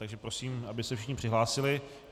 Takže prosím, aby se všichni přihlásili.